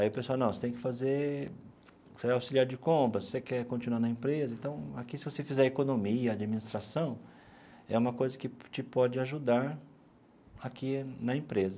Aí o pessoal, não, você tem que fazer você é auxiliar de compras, você quer continuar na empresa, então aqui se você fizer economia, administração, é uma coisa que te pode ajudar aqui na empresa.